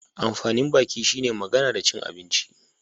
Amfanin baki shi ne magana da cin abinci